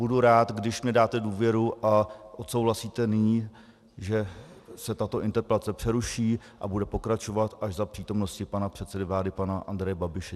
Budu rád, když mi dáte důvěru a odsouhlasíte nyní, že se tato interpelace přeruší a bude pokračovat až za přítomnosti pana předsedy vlády pana Andreje Babiše.